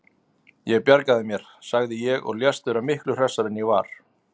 Ég bjarga mér, sagði ég og lést vera miklu hressari en ég var.